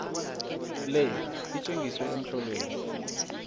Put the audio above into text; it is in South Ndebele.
le itjengiswe emtlolweni